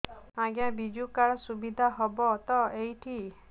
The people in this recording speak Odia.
ଆଜ୍ଞା ବିଜୁ କାର୍ଡ ସୁବିଧା ହବ ତ ଏଠି